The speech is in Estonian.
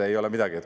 Ei ole midagi.